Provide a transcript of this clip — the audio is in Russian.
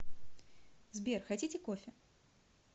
сбер хотите кофе